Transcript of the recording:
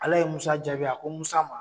Ala ye Musa jaabi ko Musa ma.